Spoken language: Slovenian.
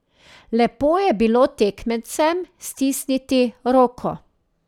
Lepo je bilo tekmecem stisniti roko.